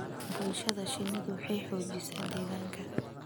bulshada shinnidu waxay xoojisaa deegaanka